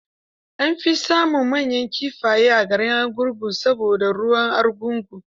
An fi samun manyan kifaye a garin Argungu saboda ruwan argungu.